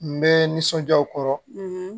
N bɛ n nisɔnja u kɔrɔ